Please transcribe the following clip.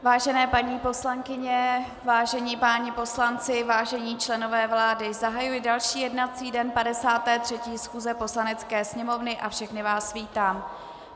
Vážené paní poslankyně, vážení páni poslanci, vážení členové vlády, zahajuji další jednací den 53. schůze Poslanecké sněmovny a všechny vás vítám.